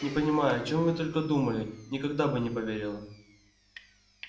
не понимаю о чем вы только думали никогда бы не поверила